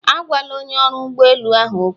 Agwala onye ọrụ ụgbọ elu ahụ okwu.